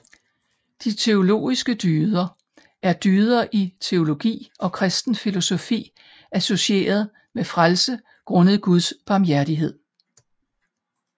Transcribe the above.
De teologiske dyder er dyder i teologi og kristen filosofi associeret med frelse grundet guds barmhjertighed